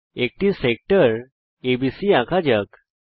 একটি sector ABC আঁকা যাক